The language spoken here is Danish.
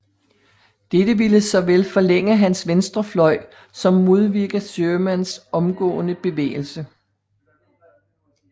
Dette ville såvel forlænge hans venstre fløj som modvirke Shermans omgående bevægelse